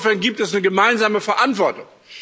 Also insofern gibt es eine gemeinsame Verantwortung.